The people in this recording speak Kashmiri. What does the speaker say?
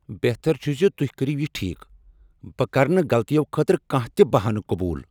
بہتر چھ ز تُہۍ کٔرِو یہ ٹھیک۔ بہٕ کرٕ نہٕ غلطیو خٲطرٕ کانٛہہ تِہ بہانہٕ قبول۔